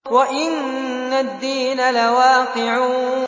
وَإِنَّ الدِّينَ لَوَاقِعٌ